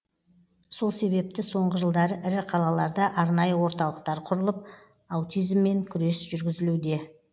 сол себепті соңғы жылдары ірі қалаларда арнайы орталықтар құрылып аутизммен күрес жүргізілуде